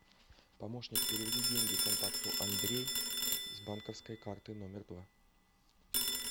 помощник переведи деньги контакту андрей с банковской карты номер два